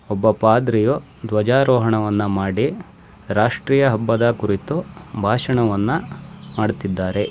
ಒಬ್ಬ ಪಾದ್ರಿಯು ಧ್ವಜಾರೋಹಣವನ್ನ ಮಾಡಿ ರಾಷ್ಟ್ರೀಯ ಹಬ್ಬದ ಕುರಿತು ಭಾಷಣವನ್ನ ಮಾಡ್ತಿದ್ದಾರೆ.